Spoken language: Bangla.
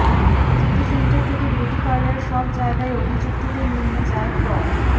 সিটি সেন্টার থেকে বিউটি পার্লার সব জায়গায় অভিযুক্তদের নিয়ে যায় প